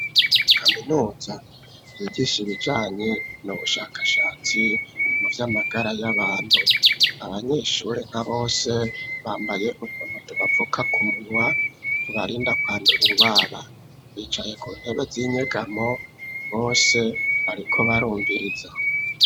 Kaminuza yigisha ibijanye nubushakashatsi mu vy'amagara y'abantu abanyeshuri na bose bambaye ubuntu tubavuka ku munwa tubarinda kwandura indwara bicaye ku ntebe z'inyegamo bose bariko barumviriza.